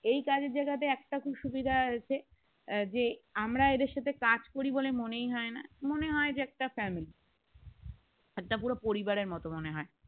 এই কাজের জায়গাতে একটা খুব সুবিধা আছে যে আমরা এদের সাথে কাজ করি বলে মনেই হয় না মনে হয় যে একটা family একটা পুরো পরিবারের মত মনে হয়